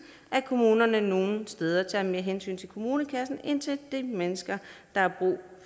at kommunerne nogle steder tager mere hensyn til kommunekassen end til de mennesker der